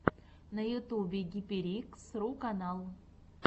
на ютюбе гиперикс ру канал